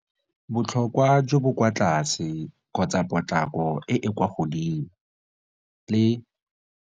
Botlhokwa jo bo kwa tlase potlako e e kwa godimo le.